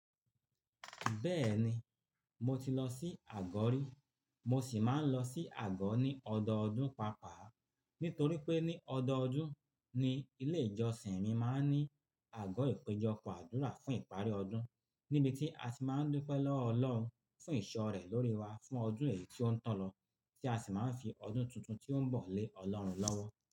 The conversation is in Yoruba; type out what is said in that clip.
Bẹ́ẹ̀ni, mo ti lọ sí àgọ́ rí, mo sì máa ń lọ sí àgọ́ ní ọdọọdún pàápàá. Nítorí pé ní ọdọọdún ni ilé ìjọsìn mi máa ń ní àgọ́ ìpéjọpọ̀ àdúrà fún ìparí ọdún níbi tí a tí máa ń dúpẹ́ lọ́wọ́ Ọlọ́run fún ìṣọ́ rẹ̀ lórí wa fún ọdún èyí tió ń tàn lọ tí a sì máa ń fi ọdún tuntun tí ó ń bọ̀ lé Ọlọ́run lọ́wọ́.